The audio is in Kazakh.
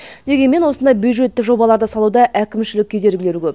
дегенмен осындай бюджетті жобаларды салуда әкімшілік кедергілер көп